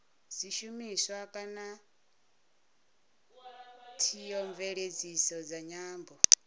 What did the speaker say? zwishumiswa kana theomveledziso dza nyambo